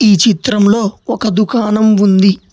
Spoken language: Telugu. ఈ చిత్రంలో ఒక దుకాణం ఉంది.